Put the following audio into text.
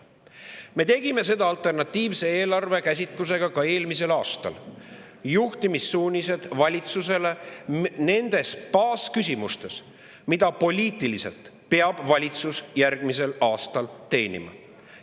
Me tegime seda alternatiivse eelarvega ka eelmisel aastal, juhtimissuunised valitsusele nendes baasküsimustes, mida valitsus peab poliitiliselt järgmisel aastal.